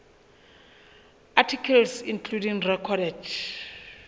articles including recorded